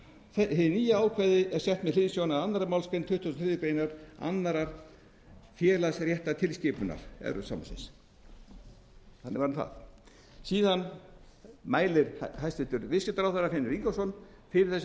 hið nýja ákvæði er sett með hliðsjón af annarri málsgrein tuttugustu og þriðju grein annars félagsréttartilskipunar evrópusambandsins þannig var nú það síðan mælir hæstvirtur viðskiptaráðherra finnur ingólfsson fyrir þessu